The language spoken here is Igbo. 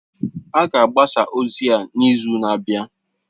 A ga-agbasa ozi a n'izu na-abịa.